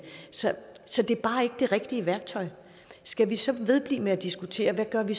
så så det er bare ikke det rigtige værktøj skal vi så vedblive med at diskutere hvad vi